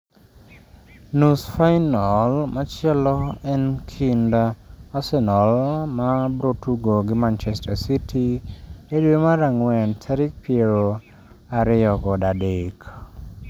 Nus final machielo en kind Arsenal mabrotugo gi Manchester City e dwe mar ang'wen tarik pier ariyo kod adek